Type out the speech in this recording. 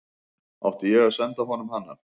Átti ég að senda honum hana?